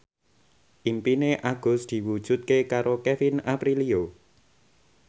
impine Agus diwujudke karo Kevin Aprilio